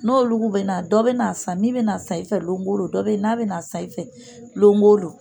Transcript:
N'olu bɛ na, dɔ bɛ na san min bɛ n'a san i fɛ longo lon, dɔ bɛ yen n'a bɛ na san i fɛ longo lon